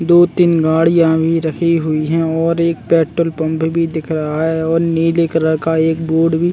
दो तीन गाड़िया भी रखी हुई है और एक पेट्रोल पंप भी दिख रहा है और नीले कलर का बोर्ड भी--